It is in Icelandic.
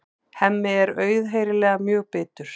Hemmi er auðheyrilega mjög bitur.